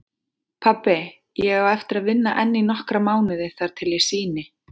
Pabbi, ég á eftir að vinna enn í nokkra mánuði þar til ég sýni.